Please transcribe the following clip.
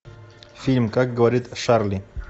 фильм как говорит шарли